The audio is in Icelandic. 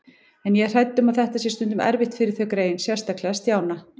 En ég er hrædd um að þetta sé stundum erfitt fyrir þau greyin, sérstaklega Stjána